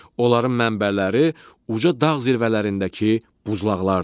Onların mənbələri uca dağ zirvələrindəki buzlaqlardır.